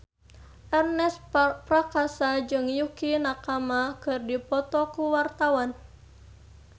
Ernest Prakasa jeung Yukie Nakama keur dipoto ku wartawan